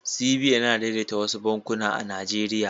CBN yana daidaita wasu bankuna a Najeriya.